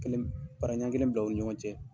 Kelen para ɲan kelen bila u ni ɲɔgɔn cɛ.